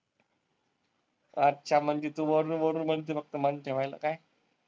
अच्छा म्हणजे तू वरुन वरुन म्हणते फक्त मन ठेवायला काय?